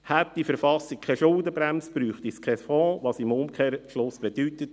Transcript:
Hätte diese KV keine Schuldenbremse, bräuchte es keinen Fonds, was im Umkehrschluss bedeutet: